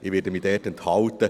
Ich werde mich enthalten.